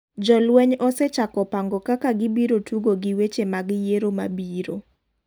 Jolweny osechako pango kaka gibiro tugo gi weche mag yiero mabiro.